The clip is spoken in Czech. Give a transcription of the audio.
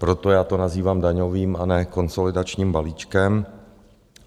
Proto já to nazývám daňovým, a ne konsolidačním balíčkem.